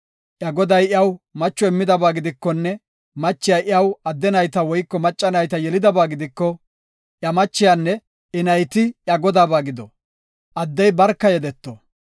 Iya goday iyaw macho immidaba gidikonne machiya iyaw adde nayta woyko macca nayta yelidaba gidiko, iya machiyanne I nayti iya godaaba gido; addey barka yedeto.